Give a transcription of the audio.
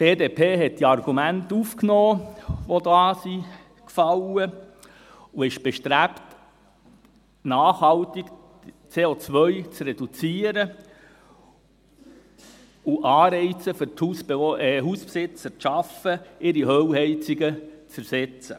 Die BDP hat die Argumente aufgenommen, die da gefallen sind, und ist bestrebt, nachhaltig CO zu reduzieren und Anreize für die Hausbesitzer zu schaffen, damit diese ihre Ölheizungen ersetzen.